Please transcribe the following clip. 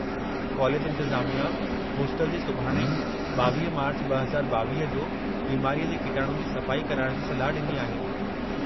College इंतिज़ामिया hostel जी सुभाणे, 22 मार्च, 2022 जो बिमारीअ जे किटाणुनि जी सफ़ाई कराइण जी सलाह ॾिनी आहे।